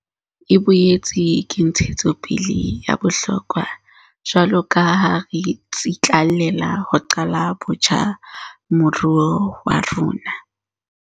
E boetse ke ntshetsopele ya bohlokwa jwaloka ha re tsitlallela ho qala botjha moruo wa rona.